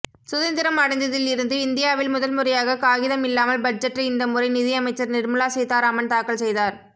சுதந்திரம் அடைந்ததில் இருந்து இந்தியாவில் முதல்முறையாக காகிதம் இல்லாமல் பட்ஜெட்டை இந்த முறை நிதியமைச்சர் நிர்மலா சீதாராமன் தாக்கல் செய்தார்